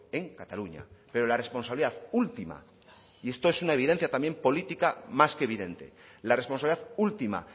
en cataluña pero la responsabilidad última y esto es una evidencia también política más que evidente la responsabilidad última